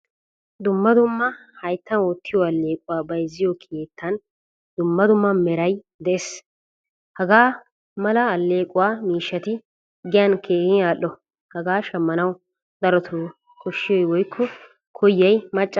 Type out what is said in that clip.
Dumma dumma hayttan wottiyo allequwaa bayzziyo keettan dumma dumma meran de'ees. Hagaa mala aleequwaa miishshati giyan keehin al"o. Hagaa shammanawu darotoo koshiyoy woykko koyiyay macca asaa.